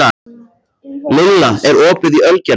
Lilla, er opið í Ölgerðinni?